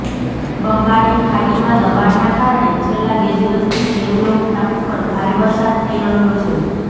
બંગાળની ખાડીમાં દબાણના કારણે છેલ્લા બે દિવસથી હેવલોક ટાપુ પર ભારે વરસાદ થઈ રહ્યો છે